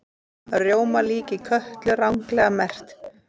Rjómalíki Kötlu ranglega merkt